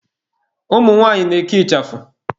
Umu nwanyị na-eke ịchafụ.